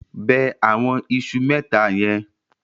Bẹ àwọn iṣu mẹ́ta yẹn.